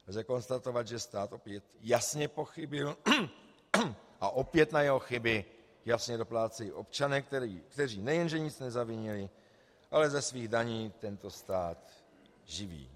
Lze konstatovat, že stát opět jasně pochybil a opět na jeho chyby jasně doplácejí občané, kteří nejen nic nezavinili, ale ze svých daní tento stát živí.